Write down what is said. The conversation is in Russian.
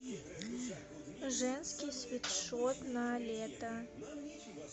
женский свитшот на лето